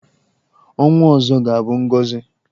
Ọnwa ọzọ ga-abụ ngọzị.